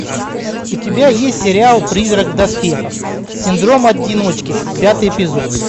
у тебя есть сериал призрак в доспехах синдром одиночки пятый эпизод